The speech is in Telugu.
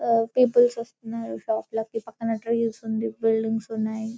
ప్యూపిల్స్ వస్తున్నారు షాప్ లోకి పక్కనే ట్రీస్ ఉన్నాయ్ బిల్డింగ్స్ ఉన్నాయ్